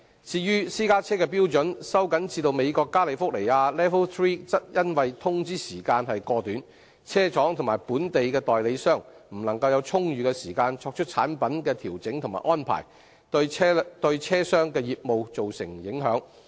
至於私家車的標準收緊至美國加利福尼亞 LEV III 則因通知時間過短，車廠及本地代理商未能有充裕時間作出產品的調整和安排，對車商的業務造成影響。